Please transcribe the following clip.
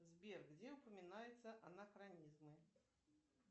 сбер где упоминаются анахронизмы